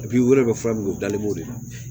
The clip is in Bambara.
u yɛrɛ bɛ fura min o dalen b'o de la